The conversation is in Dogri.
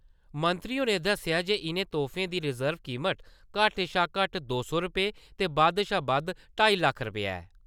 मंत्री होरें दस्सेया जे इनें तोहफें गी रिज्बड कीमत घट्ट शा घट्ट दो सौ रपेऽ ते बद्ध शा बद्ध ढाई लक्ख रपेऽ ऐ